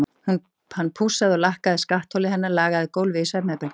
Hann pússaði og lakkaði skattholið hennar, lagaði gólfið í svefnherberginu.